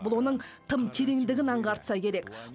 бұл оның тым тереңдігін аңғартса керек